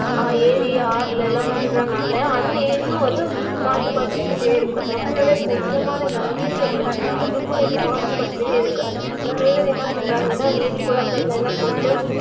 ஏரி, ஆறுல எல்லாம் விட்டுறதுனால அந்த ஏரியும் வந்து மாசுபட்டுட்டே இருக்கும் நம்மளோட புனிதமான கங்கைன்னு சொல்லுவாங்கல்ல அது கூடயும் மாசுபட்டுட்டே இருக்கு நிறைய பேர் என்ன பண்ணுறாங்கன்னா ஏரி, குளங்கள்ல எல்லாம் போயிட்டு